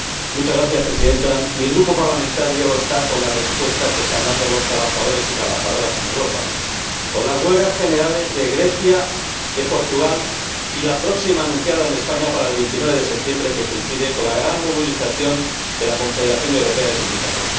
Señora Presidenta, mi Grupo parlamentario está con la respuesta que están dando los trabajadores y las trabajadoras en Europa, con las huelgas generales de Grecia, de Portugal y la próxima anunciada en España para el 29 de septiembre, que coincide con la gran movilización de la Confederación Europea de Sindicatos.